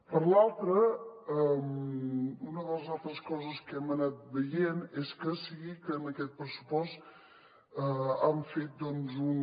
per l’altra una de les altres coses que hem anat veient és que sí que en aquest pressupost han fet doncs un